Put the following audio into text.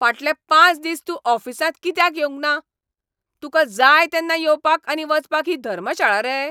फाटले पांच दीस तूं ऑफिसांत कित्याक येवंक ना? तुका जाय तेन्ना येवपाक आनी वचपाक ही धर्मशाळा रे?